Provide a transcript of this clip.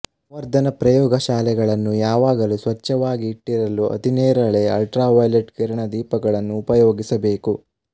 ಸಂವರ್ಧನಪ್ರಯೋಗಶಾಲೆಗಳನ್ನು ಯಾವಾಗಲೂ ಸ್ವಚ್ಛವಾಗಿ ಇಟ್ಟಿರಲು ಅತಿನೇರಳೆ ಅಲ್ಟ್ರಾವಯೊಲೆಟ್ ಕಿರಣ ದೀಪಗಳನ್ನು ಉಪಯೋಗಿಸಬೇಕು